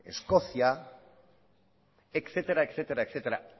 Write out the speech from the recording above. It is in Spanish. escocia etcétera